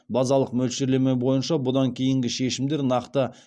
базалық мөлшерлеме бойынша бұдан кейінгі шешімдер нақты